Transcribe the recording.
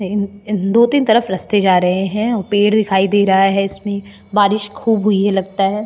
दो तीन तरफ रास्ते जा रहे हैं पेड़ दिखाई दे रहा है इसमें बारिश खूब हुई है लगता है।